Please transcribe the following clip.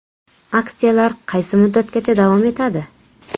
Aksiyalar qaysi muddatgacha davom etadi?